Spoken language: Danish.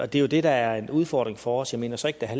det er jo det der er en udfordring for os jeg mener så ikke der er